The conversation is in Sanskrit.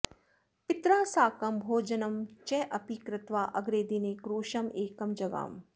पित्रा साकं भोजनं चापि कृत्वा अग्रे दिने क्रोशमेकं जगाम